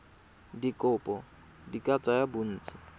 dikopo di ka tsaya bontsi